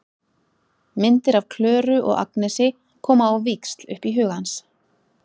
Myndir af Klöru og Agnesi koma á víxl upp í huga hans.